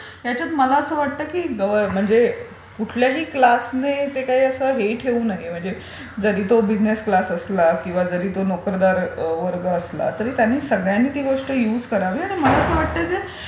so याच्यात मला असे वाटते की गव्हर्नमेंट म्हणजे कुठल्याही क्लासने ते असं हे ठेऊ नये म्हणजे जरी तो बिझनेस क्लास असला किंवा जरी तो नोकरदार वर्ग असला त्या सगळ्यांनी ती गोष्ट युज करावी आणि मला असे वाटते जे